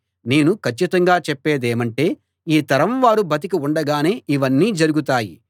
నేను కచ్చితంగా చెప్పేదేమంటే ఈ తరం వారు బతికి ఉండగానే ఇవన్నీ జరుగుతాయి